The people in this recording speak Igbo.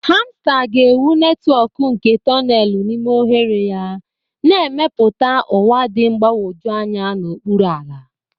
Hamster ga-ewu netwọk nke tonelu n'ime oghere ya, na-emepụta ụwa dị mgbagwoju anya n'okpuru ala.